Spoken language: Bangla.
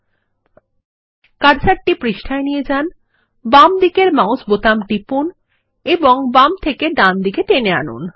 পাতায় কার্সর নিয়ে যান বাম দিকের মাউস বোতাম টিপুন এবং বাম থেকে ডান দিকে টেনে আনুন